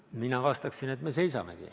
Mina vastaksin, et me seisamegi.